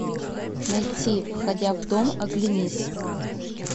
найти входя в дом оглянись